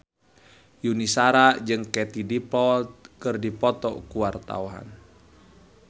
Yuni Shara jeung Katie Dippold keur dipoto ku wartawan